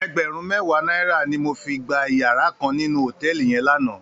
Ègbèrùn mèwá nàirá ni mó fi gbá iyàrá kán ninú hótèlí yèn làná